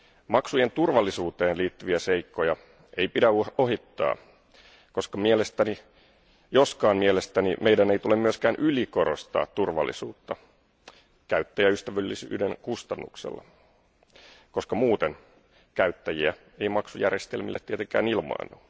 Maksujen turvallisuuteen liittyviä seikkoja ei pidä ohittaa, joskaan mielestäni meidän ei tule myöskään ylikorostaa turvallisuutta käyttäjäystävällisyyden kustannuksella, koska muuten käyttäjiä ei maksujärjestelmille tietenkään ilmaannu.